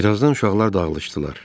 Bir azdan uşaqlar dağılışdılar.